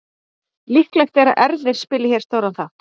Líklegt er að erfðir spili hér stóran þátt.